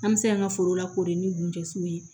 An bɛ se k'an ka foro lakori ni gunjɛsiw ye